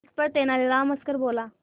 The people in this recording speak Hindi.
इस पर तेनालीराम हंसकर बोला